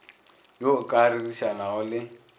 yo o ka rerišanago le